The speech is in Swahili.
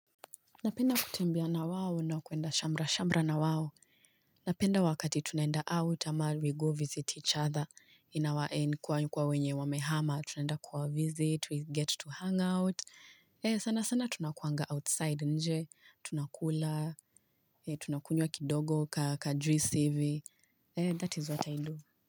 Napenda kutembea na wao, na kuenda shamra shamra na wao Napenda wakati tunaenda out, ama we go visit each other. In our end kwa wenye wamehama, tunaenda kuwa visit we get to hangout Ee, sana sana tunakuwanga outside nje tunakula ee, tunakunywa kidogo kajuice hivi ee that is what I do.